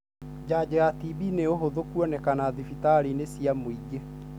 Janjo ya TB nĩ ũhũthũ kuonekana thibitarĩinĩ cia mũingĩ.